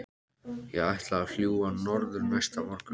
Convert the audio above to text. Ég ætlaði að fljúga norður næsta morgun.